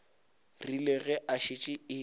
rile ge e šetše e